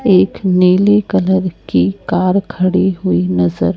एक नीली कलर की कार खड़ी हुई नजर--